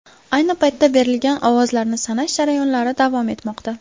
Ayni paytda berilgan ovozlarni sanash jarayonlari davom etmoqda .